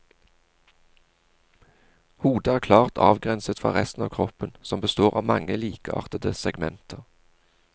Hodet er klart avgrenset fra resten av kroppen som består av mange likeartede segmenter.